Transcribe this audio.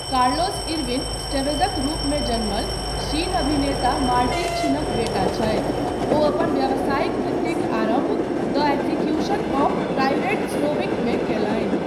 Carlos Irwin एस्टेवेज़क रूपमे जन्मल शीन, अभिनेता मार्टिन शीनक बेटा छथि, ओ अपन व्यावसायिक वृत्तिक आरम्भ द एग्ज़िक्यूशन ऑफ़ प्राइवेट स्लोविकमे कयलनि।